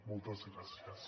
moltes gràcies